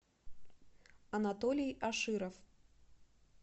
анатолий аширов